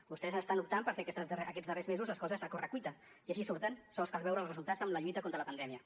vostès ara estan optant per fer aquests darrers mesos les coses a correcuita i així surten sols cal veure els resultats en la lluita contra la pandèmia